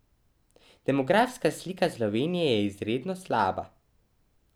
Demografska slika Slovenje je izredno slaba.